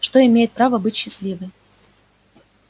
что имеет право быть счастливой